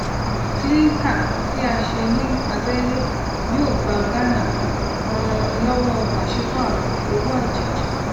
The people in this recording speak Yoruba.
clinker tí a ṣe ní abele yóò gba ghana um lọwọ pasipaaro owó àjèjì